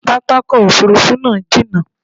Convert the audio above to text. Pápákọ̀ òfurufú náà jínà